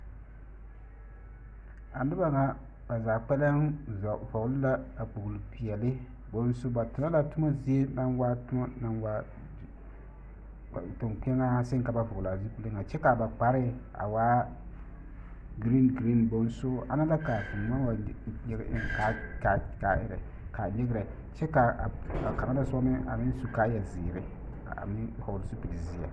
A noba ŋa ba zaa koɛlɛm vɔɔle la kpoolpeɛle ba tona la toma zie na waa kieɛŋaa naŋ seŋ ka ba vɔɔle a zupile ŋa kyɛ ka ba kparɛɛ waa ɡereenɡereen bonso ana la ka vūū maŋ wa nyeɡe eŋ ka a nyerɛnyerɛ kyɛ ka kaŋa na soba meŋ su kaayaziiri a vɔɔle zupilizeɛ.